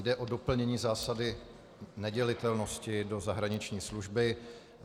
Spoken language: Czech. Jde o doplnění zásady nedělitelnosti do zahraniční služby.